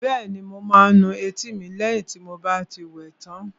Bẹ́ẹ̀ni, mo máa nu etí mi lẹ́yìn tí n bá ti wẹ tán